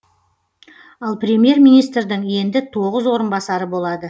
ал преьмьер министрдің енді тоғыз орынбасары болады